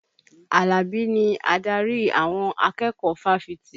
Alabi ni adarí àwọn akẹ́kọ̀ọ́ fáfitì